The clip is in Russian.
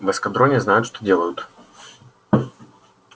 в эскадроне знают что делают